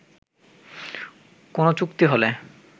কোন চুক্তি হলে